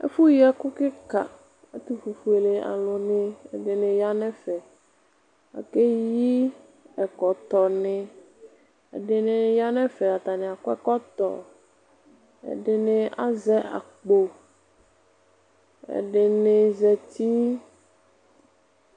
Ɛfu yi ɛku kika ɛtufuele aluni ɛdini ya nu ɛfɛ akeyi ɛkɔtɔ ni ɛdini ya nɛfɛ atani akɔ ɛkɔtɔ ɛdini azɛ akpo ɛdini zati